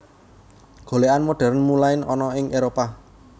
Golèkan modern mulain ana ing Éropah